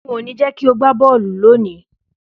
N ò ní jé̩ kí o gbá bó̩ò̩lù lónìí!